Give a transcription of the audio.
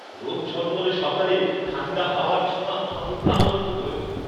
রোদ ঝলমলে সকালে ঠাণ্ডা হাওয়ার ছোঁয়া আমাকে প্রাণবন্ত করে তোলে।